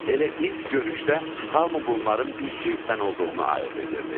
Elə ilk görüşdə hamı bunların bir cinsdən olduğunu ayırd edirdi.